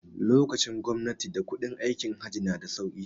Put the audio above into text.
Lokacin gwamnatin da kuɗin aikin Hajj na da sauki